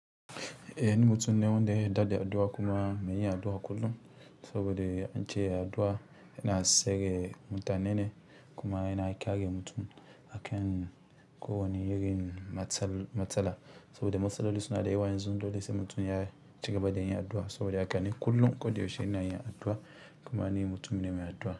Eh ni mutum ne wanda ya yadda addu'a kuma mai yin addu'a kullum saboda an ce addu'a yana sa mutane yana mutane kuma yana kare mutum a kan ko wane irin matsala saboda masaloli suna da yawa yanzu sai mutum ya cigaba da yin addu'a saboda haka ni kullum koda yaushe ina yin addu'a. Kuma ni mutum ne mai addu'a.